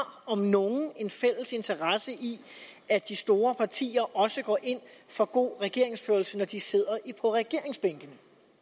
om nogen en fælles interesse i at de store partier også går ind for god regeringsførelse når de sidder på regeringsbænkene